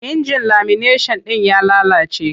Injin lamineshan ɗin ya lalace.